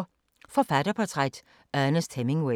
Forfatterportræt: Ernest Hemingway